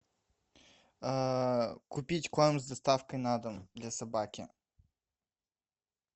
купить корм с доставкой на дом для собаки